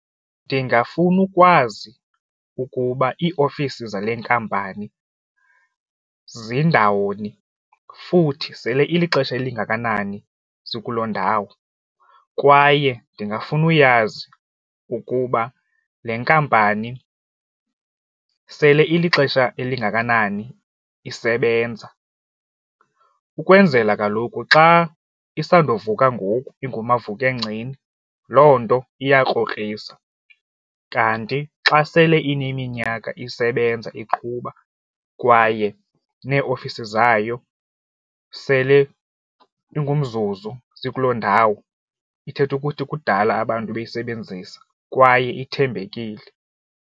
Ndingafuna ukwazi ukuba iiofisi zale nkampani zindawoni futhi sele ilixesha elingakanani zikuloo ndawo kwaye ndingafuna uyazi ukuba le nkampani sele ilixesha elingakanani isebenza ukwenzela kaloku xa isandovuka ngoku iingumavukengceni loo nto iyakrokrisa, kanti xa sele ineminyaka isebenza iqhuba kwaye neeofisi zayo sele ingumzuzu zikuloo ndawo ithetha ukuthi kudala abantu bayisebenzisa kwaye ithembekile.